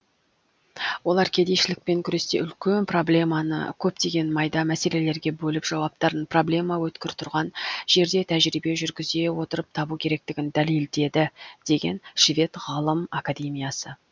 олар кедейшілкпен күресте үлкен проблеманы көптеген майда мәселелерге бөліп жауаптарын проблема өткір тұрған жерде тәжірибе жүргізе отырып табу керектігін дәлелдеді деген швед ғылым академиясы